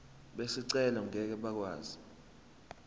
bezicelo ngeke bakwazi